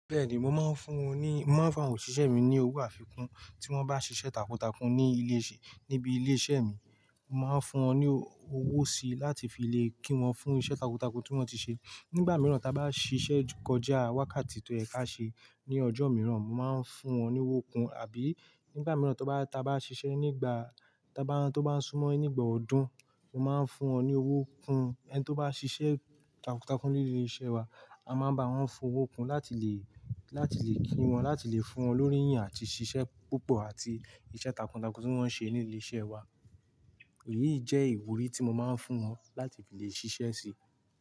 Bẹ́ẹ̀ni, mo máa ń fún wòn ní, mo máa ń fún àwọn òṣìṣẹ́ mi ní owó àfikún tí wọ́n bá ṣiṣẹ́ takuntakun ní ilé ìṣẹ́, níbi ilé iṣẹ́ mi. Mo máa ń fún wọn ní owó si láti fi lè kí wọn fún iṣẹ́ takuntakun tí wọ́n ti ṣe. Nígbà mìíràn, tí a bá ṣiṣẹ́ kọjá wákàtí tó yẹ̀ ka ṣe ní ọjọ́ mìíràn, mo máa ń fún wọn ní owó kun. Àbí nígbà mìíràn, tí a bá, tí a bá ṣiṣẹ́ nígbà, tí a bá ń, tí ó bá ń súnmọ́ nígbà ọdún, mo máa ń fún wọn ní owó kun. Ẹni tí ó bá ṣiṣẹ́ takuntakun ní ilé iṣẹ́ wa, a máa bá wọn fi owó kun láti lè, láti lè kí wọn, láti lè fún wọn lórí ìyìn àti ṣiṣẹ́ púpọ̀ àti iṣẹ́ takuntakun tí wọ́n ṣe ní ilé iṣẹ́ wa. Èyí jẹ́ ìwúrí tí mo máa ń fún wọn láti fi lè ṣiṣẹ́ sí.